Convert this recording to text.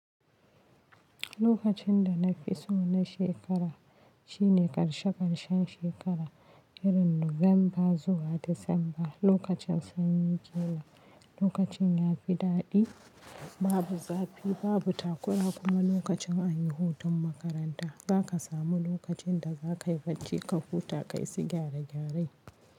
Lokacin da na fi so na shekara shine karshe karshen shekara, irin Nuwamba zuwa Disamba. Lokacin sanyi ke nan, lokacin ya fi daɗi, babu zafi, babu takura kuma lokacin an yi hutun makaranta. Za ka samu lokacin da za ka yi bacci ka huta ka yi su gyare gyare.